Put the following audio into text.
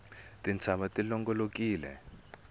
tintshava ti longolokile